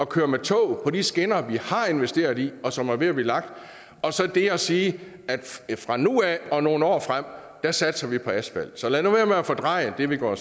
køre med tog på de skinner vi har investeret i og som er ved at blive lagt og så det at sige at fra nu af og nogle år frem satser vi på asfalt så lad nu at fordreje det vi går